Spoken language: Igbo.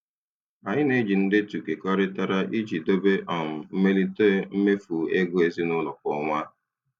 Anyị na-eji ndetu kekọrịtara iji dobe um mmelite mmefu ego ezinụlọ kwa ọnwa.